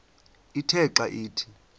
ithe xa ithi